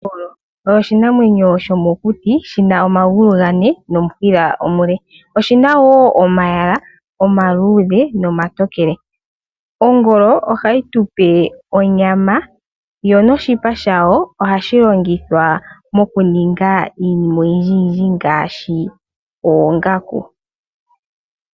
Ongolo oyo oshinamwenyo shomokuti shina omagulu gane nomushila omule. Oshina wo omayala omaluudhe nomatokele. Ongolo ohayi tupe onyama yo noshipa shawo ohashi longithwa iinima oyindji yindji ngaashi oongaku.